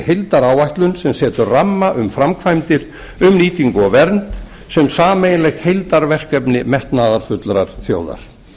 heildaráætlun sem setur ramma um framkvæmdir um nýtingu og vernd sem sameiginlegt heildarverkefni metnaðarfullrar þjóðar